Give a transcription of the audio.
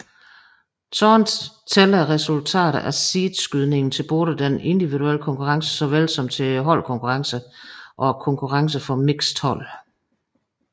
Således tæller resultatet af seedningsskydningen til både den individuelle konkurrence såvel som til holdkonkurrencen og konkurrencen for mixed hold